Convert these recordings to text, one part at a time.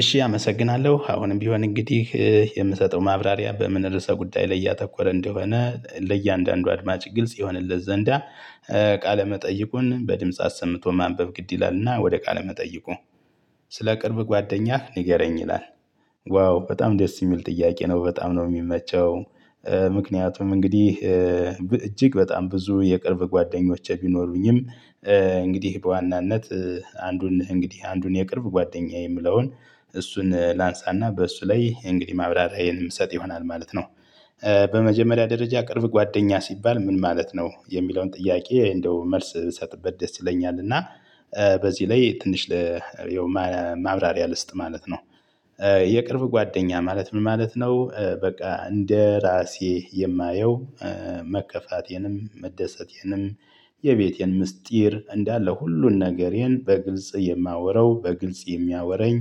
እሺ አመሰግናለሁ አሁንም ቢሆን እንግዲህ የምሰጠው ማብራሪያ በምን ርዕሰ ጉዳይ ላይ ያተኮረ እንደሆነ ለእያንዳንዱ አድማጭ ግልጽ ይሆንለት ዘንዳ። ቃለ መጠይቁን በድምጽ አሰምቶ ማንበብ ግድ ይላልና ወደ ቃለ መጠይቁ? ስለ ቅርብ ጓደኛህ ንገረኝ ይላል። ዋው በጣም ደስ የሚል ጥያቄ ነው በጣም ነው የሚመቸው። ምክንያቱም እንግዲህ እጅግ በጣም ብዙ የቅርብ ጓደኞቼ ቢኖሩኝም። እንግዲህ በዋናነት አንዱን እንግዲህ አንዱን የቅርብ ጓደኛዬ የምለውን እሱን ላንሳና በእሱ ላይ እንግዲህ ማብራሪያዬን የምሰጥ ይሆናል ማለት ነው። በመጀመሪያ ደረጃ ቅርብ ጓደኛ ሲባል ምን ማለት ነው የሚለውን ጥያቄ? እንደው መልስ ብሰጥበት ደስ ይለኛል። እና በዚህ ላይ ትንሽ ለማብራሪያ ልስጥ ማለት ነው። የቅርብ ጓደኛ ማለት ምን ማለት ነው በቃ እንደራሴ የማየው መከፋቴንም መደሰቴንም የቤቴን ምስጢር እንዳለ ሁሉን ነገሬን በግልጽ የማወረው በግልጽ የሚያወራኝ።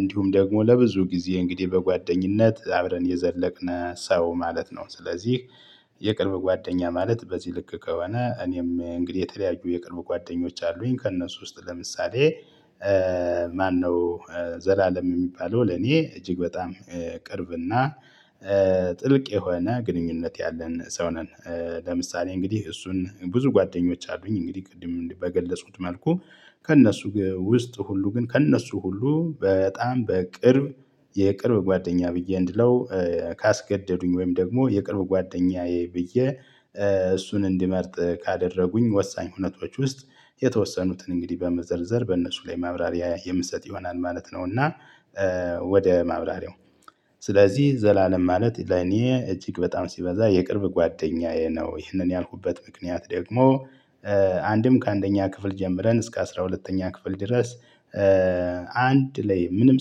እንዲሁም ደግሞ ለብዙ ጊዜ እንግዲህ በጓደኝነት አብረን የዘለቅነ ሰው ማለት ነው። ስለዚህ የቅርብ ጓደኛ ማለት በዚህ ልክ ከሆነ እኔም እንግዲህ የተለያዩ የቅርብ ጓደኞች አሉኝ ከእነሱ ውስጥ ለምሳሌ። ማነው? ዘላለም የሚባለው ለኔ እጅግ በጣም ቅርብና ጥልቅ የሆነ ግንኙነት ያለን ሰው ነን። ለምሳሌ እንግዲህ እሱን ብዙ ጓደኞች አሉኝ እንግዲህ ቅድም በገለጽኩት መልኩ ከእነሱ ውስጥ ሁሉ ግን ከእነሱ ሁሉ በጣም በቅርብ የቅርብ ጓደኛ ብዬ እንድለው ካስገደዱኝ ወይም ደግሞ የቅርብ ጓደኛዬ ብዬ እሱን እንዲመርጥ ካደረጉኝ ወሳኝ ሁነቶች ውስጥ የተወሰኑትን እንግዲህ በመዘርዘር በእነሱ ላይ ማብራሪያ የምትሰጥ ይሆናል ማለት ነው። እና ወደ ማብራሪያው ስለዚህ ዘላለም ማለት ለኔ እጅግ በጣም ሲበዛ የቅርብ ጓደኛዬ ነው። ይህንን ያልኩበት ምክንያት ደግሞ አንድም ከአንደኛ ክፍል ጀምረን እስከ አስራ ሁለተኛ ክፍል ድረስ። አንድ ላይ ምንም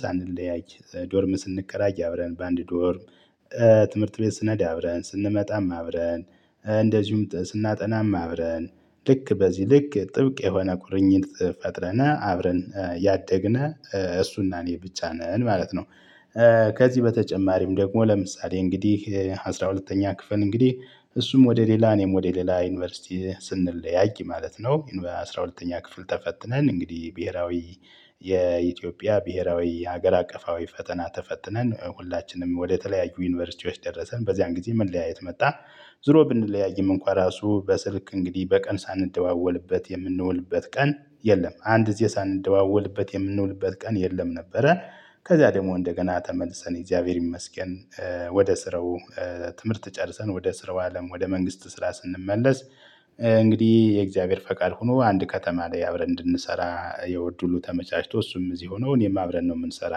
ሳንለያይ ዶርም ስንከራይ አብረን በአንድ ዶርም። ትምህርት ቤት ስነድ አብረን ስንመጣም አብረን እንደዚሁም ስናጠናም አብረን ልክ በዚህ ልክ ጥብቅ የሆነ ቁርኝት ፈጥረነ አብረን ያደግነ እሱና እኔ ብቻ ነን ማለት ነው። ከዚህ በተጨማሪም ደግሞ ለምሳሌ እንግዲህ አስራ ሁለተኛ ክፍል እንግዲህ እሱም ወደ ሌላ እኔም ወደ ሌላ ዩኒቨርሲቲ ስንለያይ ማለት ነው በአሥራ ሁለተኛ ክፍል ተፈትነን እንግዲህ ብሄራዊ የኢትዮጵያ ብሄራዊ ሀገር አቀፋዊ ፈተና ተፈትነን ሁላችንም ወደተለያዩ ዩኒቨርሲቲዎች ደረሰን በዚያን ጊዜ መለያየት መጣን። ዙሮ ብንለያይም እንኳን ራሱ በስልክ እንግዲህ በቀን ሳንደዋወልበት የምንውልበት ቀን የለም አንድዜ ሳንደዋወልበት የምንውልበት ቀን የለም ነበረ። ከዛ ደግሞ እንደገና ተመልሰን እግዚአብሔር ይመስገን። ወደ ስራው ትምህርት ጨርሰን ወደ ስራው አለም ወደ መንግስት ስራ ስንመለስ። እንግዲህ የእግዚአብሔር ፈቃድ ሆኖ አንድ ከተማ ላይ አብረን እንድንሰራ የው እድሉ ተመቻችቶ እሱም እዚህ ሆኖ እኔም አብረን ነው የምንሰራ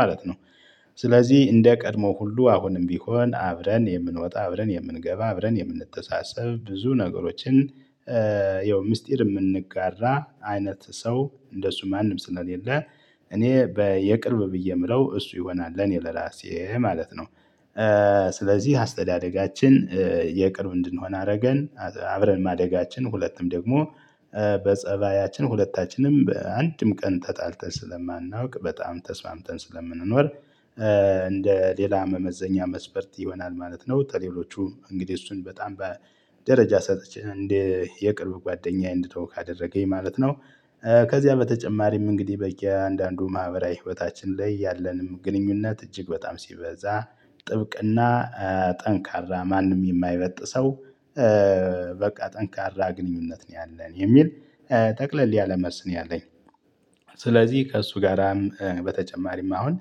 ማለት ነው። ስለዚህ እንደ ቀድሞ ሁሉ አሁንም ቢሆን አብረን የምንወጣ አብረን የምንገባ አብረን የምንተሳሰብ ብዙ ነገሮችን። ይኸው ሚስጥር የምንጋራ አይነት ሰው እንደሱ ማንም ስለሌለ እኔ የቅርብ ብዬ የምለው እሱ ይሆናል ለኔ ለራሴ ማለት ነው። ስለዚህ አስተዳደጋችን የቅርብ እንድንሆን አደረገን አብረን ማደጋችን ሁለቱም ደግሞ በፀባያችን ሁለታችንም በአንድም ቀን ተጣልተን ስለማናውቅ በጣም ተስማምተን ስለምንኖር። እንደ ሌላ መመዘኛ መስበርት ይሆናል ማለት ነው። ተሌሎቹ እንግዲህ እሱን በጣም በደረጃ ሰጥቼ እንዴ የቅርብ ጓደኛዬ እንድተው ካደረገኝ ማለት ነው። ከዚያ በተጨማሪም እንግዲህ በየአንዳንዱ ማህበራዊ ህይወታችን ላይ ያለንም ግንኙነት እጅግ በጣም ሲበዛ ጥብቅና ጠንካራ ማንም የማይበጥ ሰው። በቃ ጠንካራ ግንኙነት ነው ያለን የሚል ጠቅለል ያለ መስን ያለኝ። ስለዚህ ከእሱ ጋራም በተጨማሪም አሁን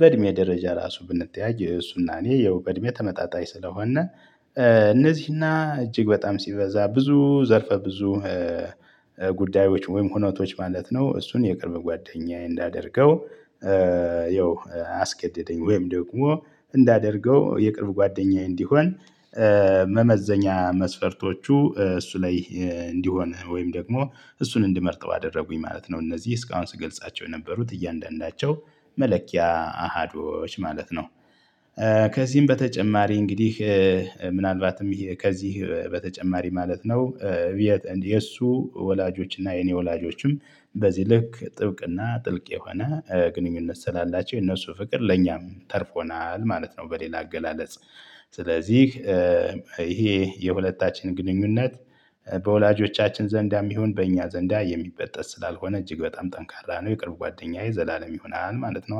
በእድሜ ደረጃ ራሱ ብንተያይ የሱናኔ የውበ እድሜ ተመጣጣኝ ስለሆነ። እነዚህና እጅግ በጣም ሲበዛ ብዙ ዘርፈ ብዙ ጉዳዮች ወይም ሁኔታዎች ማለት ነው እሱን የቅርብ ጓደኛዬ እንዳደርገው። ያው አስገደደኝ ወይም ደግሞ እንዳደርገው የቅርብ ጓደኛዬ እንዲሆን። መመዘኛ መስፈርቶቹ እሱ ላይ እንዲሆን ወይም ደግሞ እሱን እንድመርጠው አደረጉኝ ማለት ነው። እነዚህ እስካሁን ስገልጻቸው የነበሩት እያንዳንዳቸው መለኪያ አሃዶች ማለት ነው። ከዚህም በተጨማሪ እንግዲህ ምናልባትም ከዚህ በተጨማሪ ማለት ነው። የእሱ ወላጆች እና የኔ ወላጆችም በዚህ ልክ ጥብቅ እና ጥልቅ የሆነ ግንኙነት ስላላቸው የነሱ ፍቅር ለኛም ተርፎናል ማለት ነው። በሌላ አገላለጽ ስለዚህ ይሄ የሁለታችን ግንኙነት በወላጆቻችን ዘንዳም ይሁን በእኛ ዘንዳ የሚበጠጥ ስላልሆነ እጅግ በጣም ጠንካራ ነው። የቅርብ ጓደኛዬ ዘላለም ይሆናል ማለት ነው